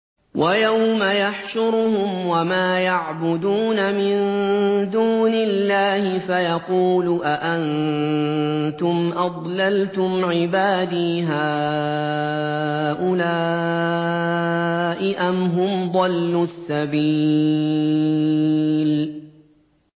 وَيَوْمَ يَحْشُرُهُمْ وَمَا يَعْبُدُونَ مِن دُونِ اللَّهِ فَيَقُولُ أَأَنتُمْ أَضْلَلْتُمْ عِبَادِي هَٰؤُلَاءِ أَمْ هُمْ ضَلُّوا السَّبِيلَ